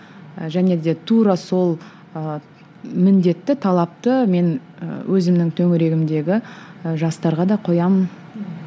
және де тура сол ыыы міндетті талапты мен і өзімнің төңірегімдегі і жастарға да коямын